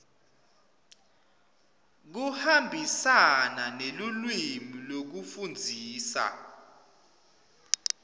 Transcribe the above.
kuhambisana nelulwimi lekufundzisa